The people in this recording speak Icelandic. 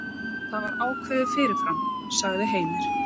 Það var ákveðið fyrirfram, sagði Heimir.